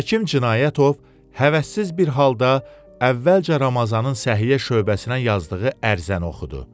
Həkim Cinayətov həvəssiz bir halda əvvəlcə Ramazanın səhiyyə şöbəsinə yazdığı ərizəni oxudu.